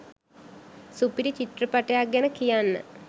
සුපිරි චිත්‍රපටයක් ගැන කියන්න